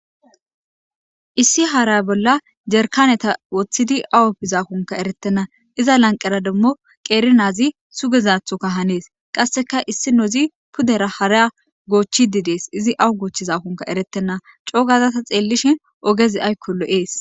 Issi hara bolla jarikaneta wothid awo bizanikoka eretena. Iza laniqera demo qeri na7az sugizathoka hanes. Qaseka issinoz pudera hara gochide des izi awu gochizanikoka eretena.co7o gada ta xelishin ogez ayiko lo7es.